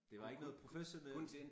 Det var ikke noget professionelt